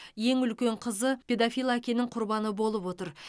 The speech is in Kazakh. ең үлкен қызы педофил әкенің құрбаны болып отыр